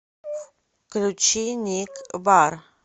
включи ник барр